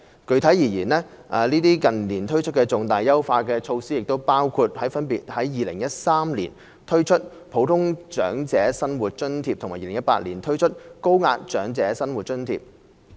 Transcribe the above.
具體而言，這些近年推出的重大優化措施包括： a 分別在2013年推出普通長者生活津貼和2018年推出高額長者生活津貼。